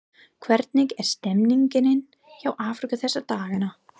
Hvernig er stemmningin hjá Afríku þessa dagana?